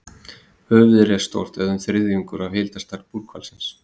Höfuðið er stórt, eða um þriðjungur af heildarstærð búrhvalsins.